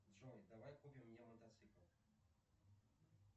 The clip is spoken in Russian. джой давай купим мне мотоцикл